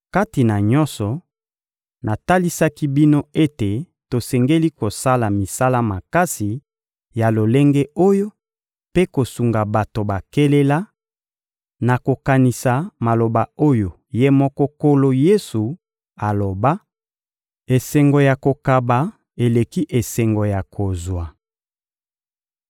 Kati na nyonso, natalisaki bino ete tosengeli kosala misala makasi ya lolenge oyo mpe kosunga bato bakelela, na kokanisa Maloba oyo Ye moko Nkolo Yesu aloba: «Esengo ya kokaba eleki esengo ya kozwa.»